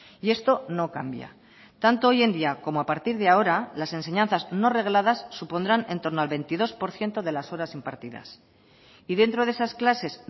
y esto no cambia tanto hoy en día como a partir de ahora las enseñanzas no regladas supondrán en torno al veintidós por ciento de las horas impartidas y dentro de esas clases